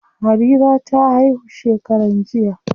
Harira ta haihu shekaran jiya.